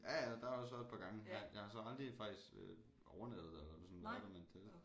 Ja ja der har jeg også været et par gange men jeg har så aldrig faktisk overnattet der eller sådan været der men det